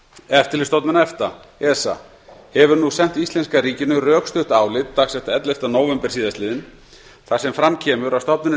eftirlitsstofnun efta esa hefur nú sent íslenska ríkinu rökstutt álit dagsett ellefta nóvember síðastliðinn þar sem fram kemur að stofnunin